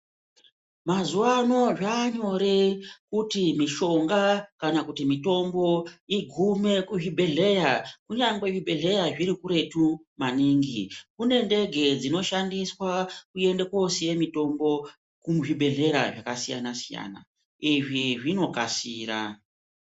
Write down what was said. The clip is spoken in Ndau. Mazuva ano zvaanyore kuti mishonga kana kuti mitombo igume kuzvibhedhleya kunyangwe zvibhedhleya zvirikuretu maningi. Kune ndege dzishandiswa kuende koosiye mitombo kuzvibhedhlera zvakasiyana-siyana, izvi zvinokasira.